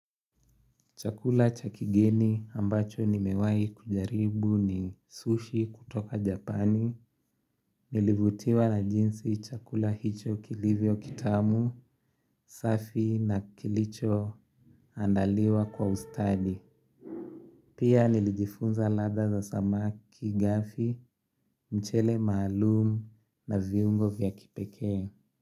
Chakula cha kigeni ambacho nimewahi kujaribu ni sushi kutoka japani. Nilivutiwa na jinsi chakula hicho kilivyo kitamu, safi na kilichoandaliwa kwa ustadi. Pia nilijifunza ladha za samaki ghafi, mchele maalumu na viungo vya kipekee.